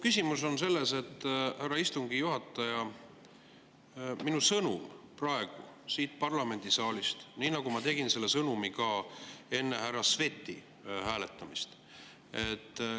Küsimus on selles, härra istungi juhataja, et minul on sõnum praegu siit parlamendisaalist, nii nagu ma selle sõnumi ka enne härra Sveti hääletamist.